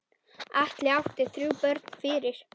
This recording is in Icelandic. Atli átti þrjú börn fyrir.